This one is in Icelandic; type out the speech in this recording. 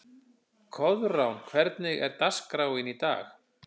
Koðrán, hvernig er dagskráin í dag?